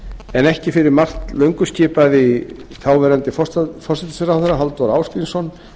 en ekki fyrir margt löngu skipaði þáv forsætisráðherra halldór ásgrímsson